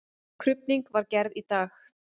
Krufning var gerð í dag.